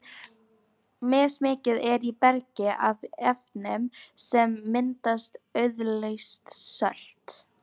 Mismikið er í bergi af efnum sem mynda auðleyst sölt.